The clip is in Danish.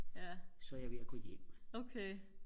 så er jeg ved og gå hjem